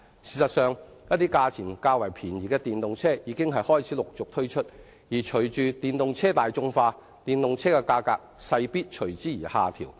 事實上，一些價錢較便宜的電動車已開始陸續推出，而隨着電動車大眾化，價格勢必隨之而下調。